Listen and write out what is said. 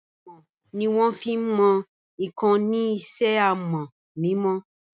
Amọ̀ ni wọ́n fí n mọ ǹkan ní isẹ́ amọ̀ mímọ